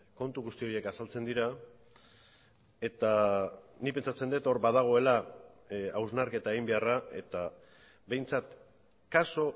kontu guzti horiek azaltzen dira eta nik pentsatzen dut hor badagoela hausnarketa egin beharra eta behintzat kasu